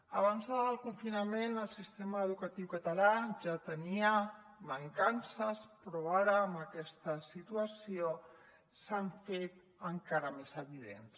abans del confinament el sistema educatiu català ja tenia mancances però ara amb aquesta situació s’han fet encara més evidents